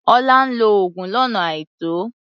Ọlá ń lo oògùn lọ́nà àìtọ́.